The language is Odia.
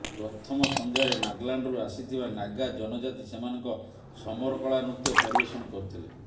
ପ୍ରଥମ ସଂଧ୍ୟାରେ ନାଗାଲାଣ୍ଡରୁ ଆସିଥିବା ନାଗା ଜନଜାତି ସେମାନଙ୍କ ସମରକଳା ନୃତ୍ୟ ପରିବେଷଣ କରିଥିଲେ